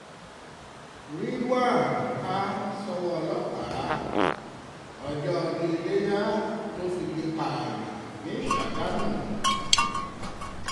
ridwan ha ṣọwọ́ ọlọ́pàá ọjọ́ ọdún iléyà ló figi pààyàn ní ṣàgámù